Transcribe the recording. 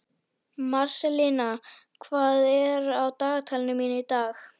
Marselína, hvað er á dagatalinu mínu í dag?